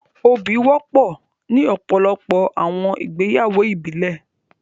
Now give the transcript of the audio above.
́Óbì wọ̀pọ̀ ní ọpọlọpọ̀ awọn igbeyawo ìbílẹ̀